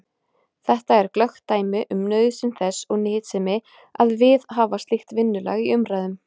Þetta er glöggt dæmi um nauðsyn þess og nytsemi að viðhafa slíkt vinnulag í umræðum.